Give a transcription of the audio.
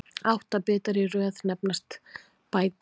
Átta bitar í röð nefnast bæti.